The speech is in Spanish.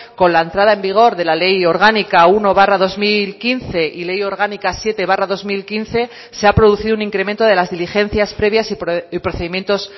con la entrada en vigor de la ley orgánica uno barra dos mil quince y ley orgánica siete barra dos mil quince se ha producido un incremento de las diligencias previas y procedimientos